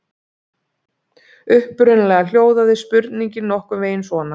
Upprunalega hljóðaði spurningin nokkurn veginn svona: